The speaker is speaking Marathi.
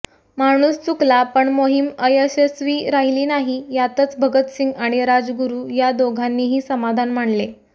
माणूस चुकला पण मोहीम अयशस्वी राहिली नाही यातच भगतसिंग आणि राजगुरू या दोघांनीही समाधान मानले